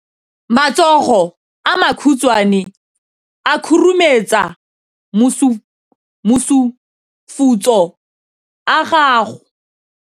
Matsogo a makhutshwane a khurumetsa masufutsogo a gago.